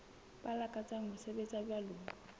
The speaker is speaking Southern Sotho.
ba lakatsang ho sebetsa jwalo